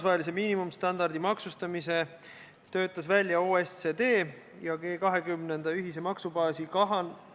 Kas see põhjendus on ikka moraalne, et vahetult surmaga seotud kulud on Eestis väiksemad kui 21 000?